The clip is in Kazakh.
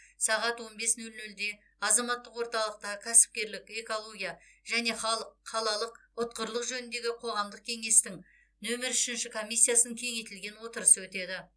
сағат он бес нөл нөлде азаматтық орталықта кәсіпкерлік экология және қалалық ұтқырлық жөніндегі қоғамдық кеңестің нөмір үшінші комиссиясының кеңейтілген отырысы өтеді